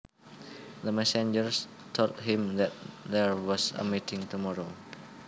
The messenger told him that there was a meeting tomorrow